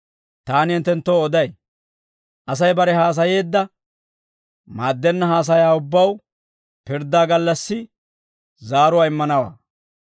Taani hinttenttoo oday; Asay bare haasayeedda maaddenna haasayaa ubbaw pirddaa gallassi zaaruwaa immanawaa.